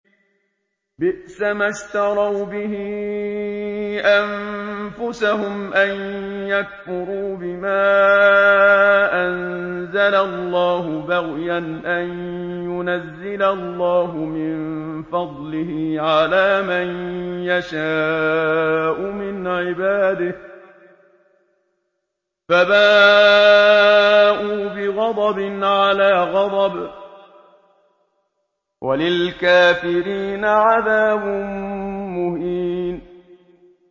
بِئْسَمَا اشْتَرَوْا بِهِ أَنفُسَهُمْ أَن يَكْفُرُوا بِمَا أَنزَلَ اللَّهُ بَغْيًا أَن يُنَزِّلَ اللَّهُ مِن فَضْلِهِ عَلَىٰ مَن يَشَاءُ مِنْ عِبَادِهِ ۖ فَبَاءُوا بِغَضَبٍ عَلَىٰ غَضَبٍ ۚ وَلِلْكَافِرِينَ عَذَابٌ مُّهِينٌ